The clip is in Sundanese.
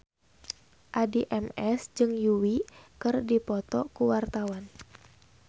Addie MS jeung Yui keur dipoto ku wartawan